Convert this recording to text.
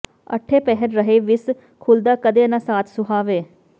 ਅੱਠੇਂ ਪਹਿਰ ਰਹੇ ਵਿੱਸ ਘੁੱਲਦਾ ਕਦੇ ਨਾ ਸਾਥ ਸੁਹਾਵੇ